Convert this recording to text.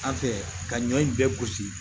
An fɛ ka ɲɔ in bɛɛ gosi